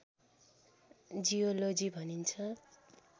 geology भनिन्छ